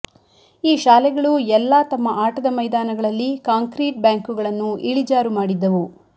ಈ ಶಾಲೆಗಳು ಎಲ್ಲಾ ತಮ್ಮ ಆಟದ ಮೈದಾನಗಳಲ್ಲಿ ಕಾಂಕ್ರೀಟ್ ಬ್ಯಾಂಕುಗಳನ್ನು ಇಳಿಜಾರು ಮಾಡಿದ್ದವು